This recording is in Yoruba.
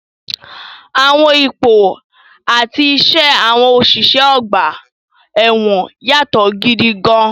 Àwọn ipò àti iṣẹ́ àwọn òṣìṣẹ́ ọgbà ẹ̀wọ̀n yàtọ̀ gidi gan-an.